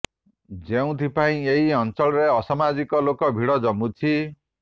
ଯେଉଁଥି ପାଇଁ ଏହି ଅଞ୍ଚଳରେ ଅସାମାଜିକ ଲୋକଙ୍କ ଭିଡ ଜମୁଛି